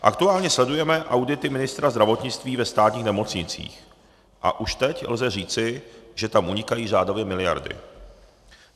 Aktuálně sledujeme audity ministra zdravotnictví ve státních nemocnicích a už teď lze říci, že tam unikají řádově miliardy.